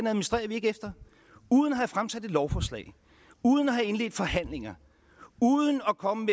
administrerer vi ikke efter uden at have fremsat et lovforslag uden at have indledt forhandlinger uden at komme